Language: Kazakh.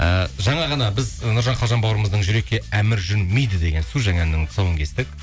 і жаңа ғана біз ы нұржан қалжан бауырымыздың жүрекке әмір жүрмейді деген су жаңа әнінің тұсауын кестік